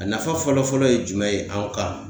A nafa fɔlɔ fɔlɔ ye jumɛn ye anw kan?